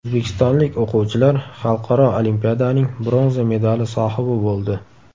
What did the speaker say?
O‘zbekistonlik o‘quvchilar xalqaro olimpiadaning bronza medali sohibi bo‘ldi.